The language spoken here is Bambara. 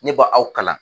Ne ba aw kalan